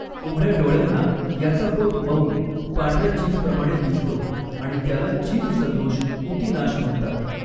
उघड्या डोळ्यांना, याचा पोत मऊ, पांढर्या चीजप्रमाणे दिसतो आणि त्याला चीज सदृश ऊतिनाश म्हणतात.